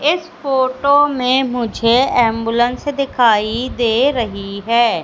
इस फोटो में मुझे एंबुलेंस दिखाई दे रही हैं।